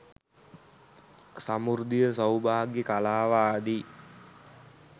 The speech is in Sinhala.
සමෘද්ධිය සෞභාග්‍ය කලාව ආදී